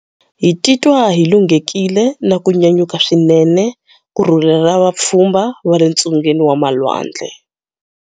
Hi titwa hi lunghekile na ku nyanyuka swinene ku rhurhela vapfhumba va le ntsungeni wa malwandle.